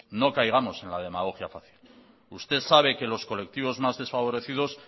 no caigamos en la demagogia fácil usted sabe que los colectivos más desfavorecidos